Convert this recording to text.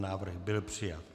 Návrh byl přijat.